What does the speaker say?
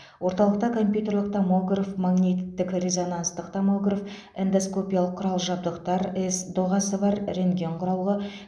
орталықта компьютерлік томограф магниті резонанстық томограф эндоскопиялық құрал жабдықтар с доғасы бар рентген құрылғы